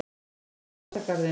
Hann dáðist að garðinum.